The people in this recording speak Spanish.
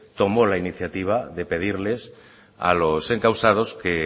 tomó la iniciativa de pedirles a los encausados que